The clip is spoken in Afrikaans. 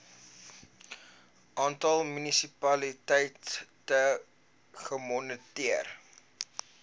aantal munisipaliteite gemoniteer